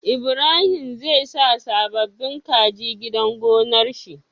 Ibrahim zai sa sababin kaji gidan gonar shi